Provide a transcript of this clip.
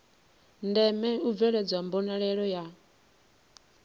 ndeme u bveledzwa mbonalelo ya